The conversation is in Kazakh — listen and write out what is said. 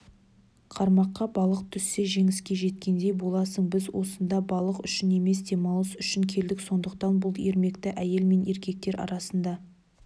қармаққа балық түссе жеңіске жеткендей боласың біз осында балық үшін емес демалыс үшін келдік сондықтан бұл ермекті әйел мен еркектер арасында